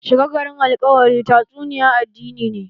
Shiga garin alkawari tatsuniyan addini ne